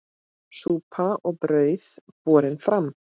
Súpa og brauð borin fram.